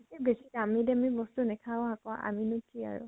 এ বেছি দামি দামি বস্তু নাখাও আকৌ আমিনো কি আৰু।